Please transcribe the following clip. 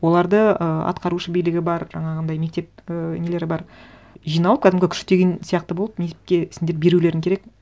оларды ы атқарушы билігі бар жаңағындай мектеп і нелері бар жиналып кәдімгі күштеген сияқты болып мектепке сендер берулерің керек